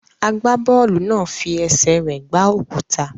Agbábọ́ọ̀lù náà fi ẹsẹ̀ rẹ̀ gbá òkúta.